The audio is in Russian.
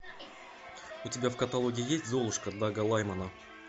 у тебя в каталоге есть золушка дага лаймана